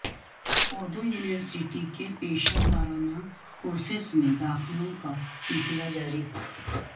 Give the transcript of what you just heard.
Urdu university کے پیشہ ورانہ کورسس میں داخلوں کا سلسلہ جاری